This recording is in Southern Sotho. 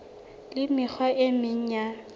le mekgwa e meng ya